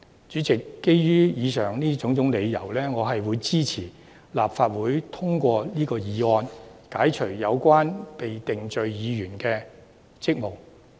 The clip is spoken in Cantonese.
主席，基於以上種種理由，我支持本會通過這項議案，解除有關被定罪議員的職務。